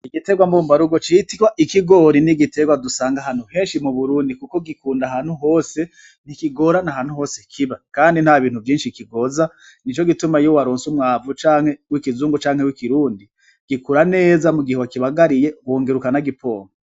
Igiterwa mbumba rugo citwa ikigori n'igiterwa dusanga ahantu heshi m'Uburundi kuko gikunda ahantu hose ntikigorana ahantu hose kiba kandi ntabintu vyishi kigoza nico gituma iyo waronse umwavu wikizungu canke wikirundi gikura neza m'ugihe wakibagariye ukongera ukana n'agipompa.